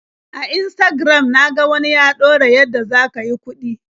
A Instagram na ga wani ya ɗora yadda za ka yi kuɗi.